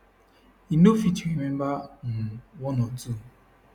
e no fit remember um one or two